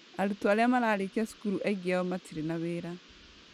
Arutwo arĩa mararĩkia cukuru aingĩ ao matirĩ na wĩra.